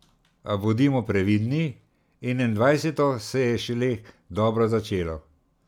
A bodimo previdni, enaindvajseto se je šele dobro začelo.